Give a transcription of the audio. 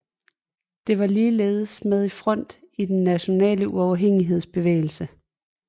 Den var ligeledes med i front i den Nationale Uafhængighedsbevægelse